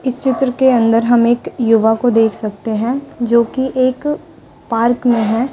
इस चित्र के अंदर हम एक युवा को देख सकते हैं जो कि एक पार्क में है।